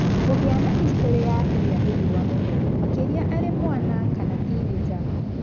Kũgĩa na hĩstorĩ ya kũhĩa nĩ riũwa mũno, makĩria arĩ mwana kana tinĩnja.